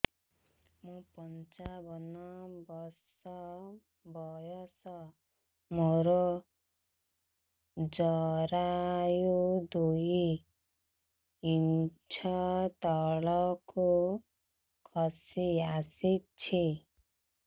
ମୁଁ ପଞ୍ଚାବନ ବର୍ଷ ବୟସ ମୋର ଜରାୟୁ ଦୁଇ ଇଞ୍ଚ ତଳକୁ ଖସି ଆସିଛି